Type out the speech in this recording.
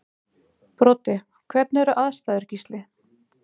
Broddi: Hvernig eru aðstæður Gísli?